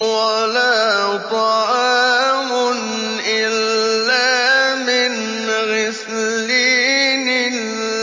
وَلَا طَعَامٌ إِلَّا مِنْ غِسْلِينٍ